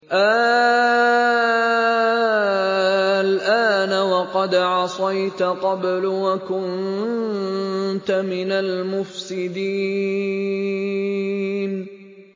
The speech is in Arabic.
آلْآنَ وَقَدْ عَصَيْتَ قَبْلُ وَكُنتَ مِنَ الْمُفْسِدِينَ